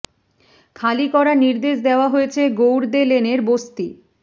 খালি করা নির্দেশ দেওয়া হয়েছে গৌর দে লেনের বস্তি